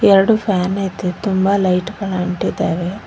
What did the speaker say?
ಎರಡು ಫ್ಯಾನ್ ಇದೆ ತುಂಬ ಲೈಟ್ ಗಳು ಅಂಟಿದಾವೆ.